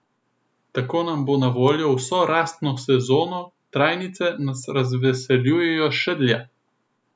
Tako nam bo na voljo vso rastno sezono, trajnice nas razveseljujejo še dlje.